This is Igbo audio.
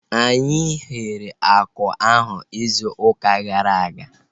Anyị ghere akụ ahu izu ụka gara aga